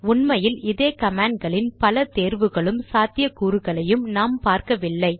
உண்மையில் இதே கமாண்ட் களில் பல தேர்வுகளும் சாத்தியக்கூறுகளையும் நாம் பார்க்கவில்லை